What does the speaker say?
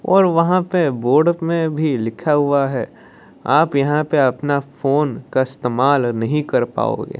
और वहां पे बोर्ड में भी लिखा हुआ है आप यहां पे अपना फोन का इस्तेमाल नहीं कर पाओगे।